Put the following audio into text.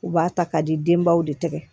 U b'a ta ka di denbaw de tɛgɛ